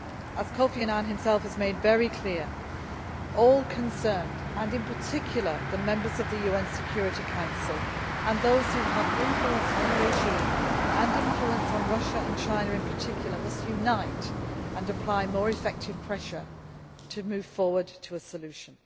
As Kofi Annan himself has made very clear, all concerned and in particular the Members of the UN Security Council and those who have influence on the regime and on Russia and China in particular must unite and apply more effective pressure to move forward to a solution.